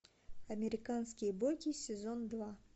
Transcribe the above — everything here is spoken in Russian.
американские боги сезон два